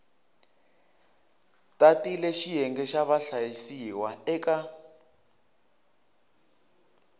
tatile xiyenge xa vahlayisiwa eka